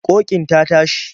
Ƙoƙin ta tashi.